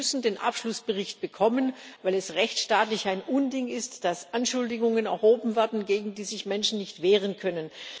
Sie müssen den Abschlussbericht bekommen, weil es rechtsstaatlich ein Unding ist, dass Anschuldigungen erhoben wurden, gegen die sich Menschen nicht wehren können.